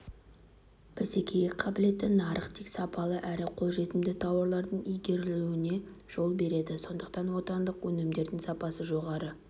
бәсекеге қабілетті нарық тек сапалы әрі қолжетімді тауардың ілгерілеуіне жол береді сондықтан отандық өнімдердің сапасы жоғары